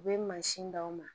U bɛ mansin d'aw ma